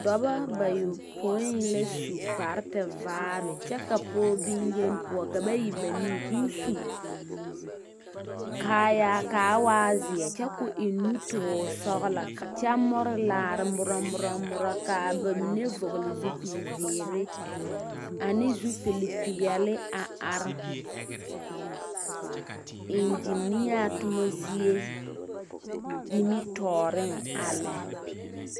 Dͻbͻ bayopoui la su kpare tevaare kyԑ ka pͻge boŋyeni poͻ ka ba e banii. Koo su kpare kaayaa kaa waa zeԑ kyԑ koo eŋ nutoore sͻgelͻ kyԑ more laara morͻ morͻ morͻ. Kaa ba mine vͻgele zupili zeere ane zupili peԑle a are eŋgenea toma zie nimitͻͻreŋ a lԑ.